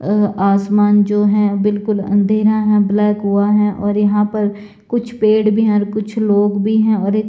आ आसमान जो हैं बिल्कुल अंधेरा हैं और ब्लैक हुआ हैं और यहाँ पर कुछ पेड़ भी हैं कुछ लोग भी हैं और एक--